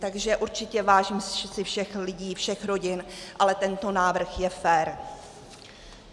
Takže určitě vážím si všech lidí, všech rodin, ale tento návrh je fér.